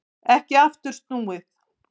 Ekki aftur snúið